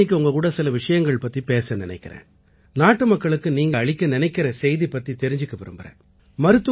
நான் இன்னைக்கு உங்ககூட சில விஷயங்கள் பத்திப் பேச நினைக்கறேன் நாட்டுமக்களுக்கு நீங்க அளிக்க நினைக்கற செய்தி பத்தித் தெரிஞ்சுக்க விரும்பறேன்